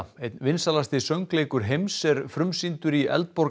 einn vinsælasti söngleikur heims er frumsýndur í